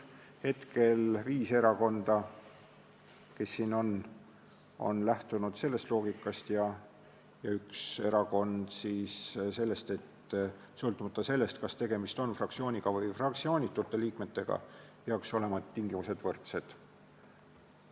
Hetkel on viis erakonda, kes siin on, lähtunud sellest loogikast, ja üks erakond sellest loogikast, et sõltumata sellest, kas tegemist on fraktsiooni kuuluvate või fraktsioonitute liikmetega, peaksid tingimused olema võrdsed.